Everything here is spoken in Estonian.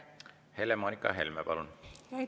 Helle-Moonika Helme, palun!